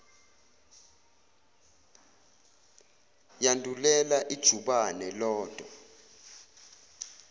yandulela ijubane lodwa